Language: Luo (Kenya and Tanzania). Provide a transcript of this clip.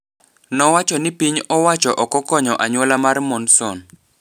Nowacho ni piny owacho okokonyo anyuola mar Monson.